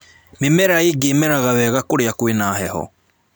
Mĩmera ĩngĩ ĩmeraga wega kũrĩa kwĩna heho